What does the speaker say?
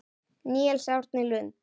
Níels Árni Lund.